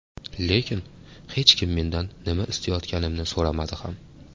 Lekin hech kim mendan nima istayotganimni so‘ramadi ham.